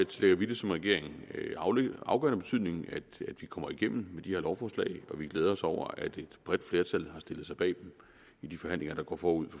tillægger vi det som regering afgørende betydning at vi kommer igennem med de her lovforslag og vi glæder os over at et bredt flertal har stillet sig bag dem i de forhandlinger der går forud